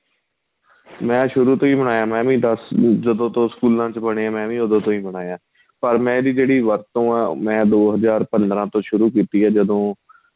ਮੈਂ ਸ਼ੁਰੂ ਤੋ ਹੀ ਬਣਾਇਆ ਮੈਂ ਵੀ ਦੱਸ ਜਦੋਂ ਤੋ ਸਕੂਲਾਂ ਚ ਬਣੇ ਏ ਮੈਂ ਵੀ ਉਹ ਤੋ ਹੀ ਬਣਾਇਆ ਪਰ ਮੈਂ ਏ ਜਿਹੜੀ ਵਰਤੋਂ ਆਂ ਮੈਂ ਦੋ ਹਜ਼ਾਰ ਪੰਦਰਾਂ ਤੋ ਕੀਤੀ ਏ ਜਦੋਂ